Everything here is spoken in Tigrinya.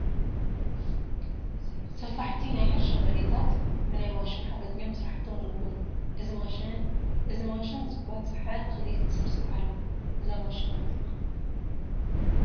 ሰፋሕቲ ናይ ሕርሻ መሬታት ብናይ ማሽን ሓገዝ እዮም ስራሕቶም ዝውግኑ፡፡ እዚ ማሽን ዝባፅሐ እኽሊ ትስብስብ ኣላ፡፡ እዛ ማሽን መን ይበሃል?